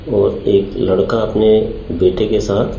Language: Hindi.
और एक लड़का अपने बेटे के साथ--